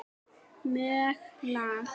mjög lág.